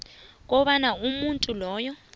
kobana umuntu loyo